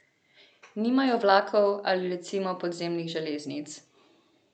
Nimajo vlakov ali recimo podzemnih železnic.